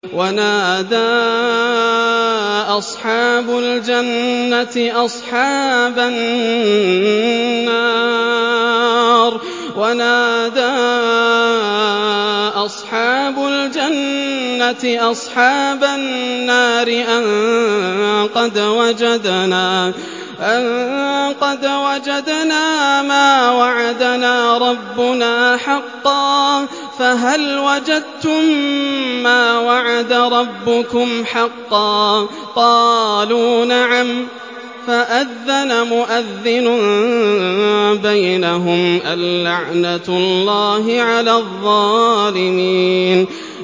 وَنَادَىٰ أَصْحَابُ الْجَنَّةِ أَصْحَابَ النَّارِ أَن قَدْ وَجَدْنَا مَا وَعَدَنَا رَبُّنَا حَقًّا فَهَلْ وَجَدتُّم مَّا وَعَدَ رَبُّكُمْ حَقًّا ۖ قَالُوا نَعَمْ ۚ فَأَذَّنَ مُؤَذِّنٌ بَيْنَهُمْ أَن لَّعْنَةُ اللَّهِ عَلَى الظَّالِمِينَ